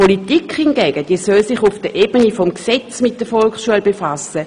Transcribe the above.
Die Politik soll sich hingegen auf der Ebene des Gesetzes mit der Volksschule befassen.